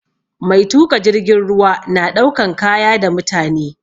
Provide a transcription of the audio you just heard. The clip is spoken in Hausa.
Mai tuƙa jirgin ruwa na ɗaukan kaya da mutane